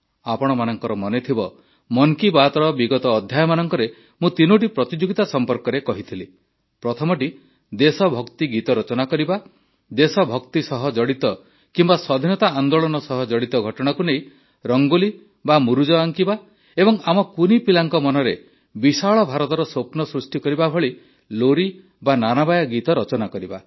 ଆପଣମାନଙ୍କର ମନେଥିବ ମନ୍ କି ବାତ୍ର ବିଗତ ଅଧ୍ୟାୟମାନଙ୍କରେ ମୁଁ ତିନୋଟି ପ୍ରତିଯୋଗିତା ସମ୍ପର୍କରେ କହିଥିଲି ପ୍ରଥମଟି ଦେଶଭକ୍ତି ଗୀତ ରଚନା କରିବା ଦେଶଭକ୍ତି ସହ ଜଡ଼ିତ କିମ୍ବା ସ୍ୱାଧୀନତା ଆନ୍ଦୋଳନ ସହ ଜଡ଼ିତ ଘଟଣାକୁ ନେଇ ରଙ୍ଗୋଲି ବା ମୁରୁଜ ଆଙ୍କିବା ଏବଂ ଆମ କୁନି ପିଲାଙ୍କ ମନରେ ବିଶାଳ ଭାରତର ସ୍ୱପ୍ନ ସୃଷ୍ଟି କରିବା ଭଳି ଲୋରୀ ବା ନାନାବାୟା ଗୀତ ରଚନା କରିବା